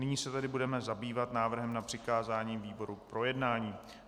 Nyní se tedy budeme zabývat návrhem na přikázání výboru k projednání.